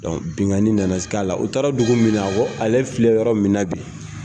Bingani nana sika la u taara dugu min na ale filɛ yɔrɔ min na bi.